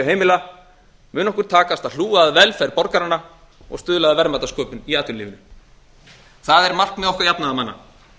heimila mun okkur takast að hlúa að velferð borgaranna og stuðla að verðmætasköpun í atvinnulífinu það er markmið okkar jafnaðarmanna